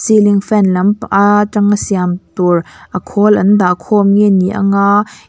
ceiling fan lampa aaa tanga siam tur a khawl an dah khawm nge ni ang a.